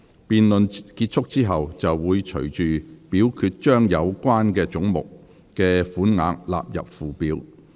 辯論結束後，會隨即表決將有關總目的款額納入附表。